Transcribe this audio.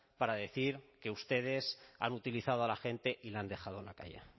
para decir que ustedes han utilizado a la gente y le han dejado en la calle